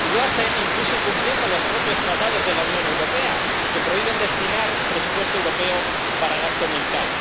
Y lo hacen incluso incumpliendo los propios Tratados de la Unión Europea, que prohíben destinar presupuesto europeo a gasto militar.